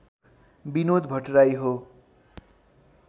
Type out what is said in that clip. बिनोद भट्टराई हो